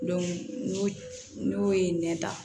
n'o n'o ye nɛn ta